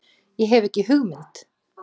Ég hef ekki hugmynd.